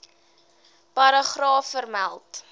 paragraaf vermeld